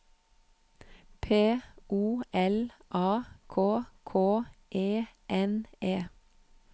P O L A K K E N E